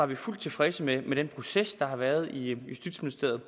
vi fuldt tilfredse med den proces der har været i justitsministeriet